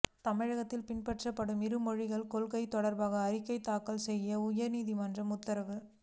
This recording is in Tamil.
தமிழகத்தில் பின்பற்றப்படும் இரு மொழிக் கொள்கை தொடா்பாக அறிக்கை தாக்கல் செய்ய உயா்நீதிமன்றம் உத்தரவு